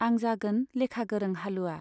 आं जागोन लेखा गोरों हालुवा।